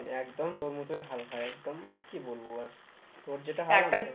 একদম তোর মতোই হাল ভাই একদম আর কি বলব বল